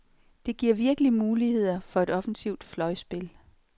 Det giver virkelig muligheder for et offensivt fløjspil.